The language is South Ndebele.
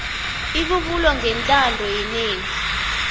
ibubulo ngentando yenengi